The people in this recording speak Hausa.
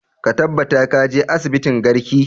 Ka tabbata ka je asibitin garki!